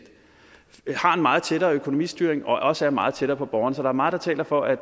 meget tættere økonomistyring og også er meget tættere på borgerne så der er meget der taler for at